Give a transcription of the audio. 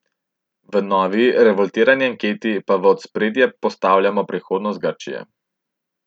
V novi Revoltirani anketi pa v ospredje postavljamo prihodnost Grčije.